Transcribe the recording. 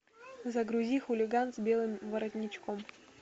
загрузи хулиган с белым воротничком